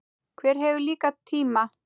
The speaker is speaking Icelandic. Hver hefur líka tíma?